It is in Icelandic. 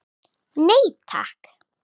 Nei takk.